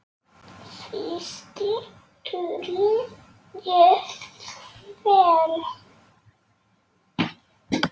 Fyrsti túrinn gekk vel.